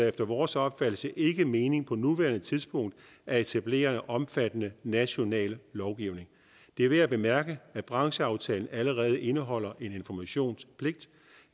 efter vores opfattelse ikke mening på nuværende tidspunkt at etablere en omfattende national lovgivning det er værd at bemærke at brancheaftalen allerede indeholder en informationspligt